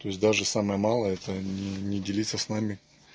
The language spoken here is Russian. то есть даже самое малое это не не делиться с нами